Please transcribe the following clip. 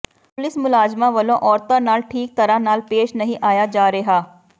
police ਮੁਲਾਜ਼ਮਾਂ ਵਲੋਂ ਔਰਤਾਂ ਨਾਲ ਠੀਕ ਤਰ੍ਹਾਂ ਨਾਲ ਪੇਸ਼ ਨਹੀਂ ਆਇਆ ਜਾ ਰਿਹਾ